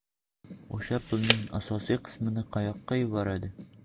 O‘sha pulning asosiy qismini qayoqqa yuboradi?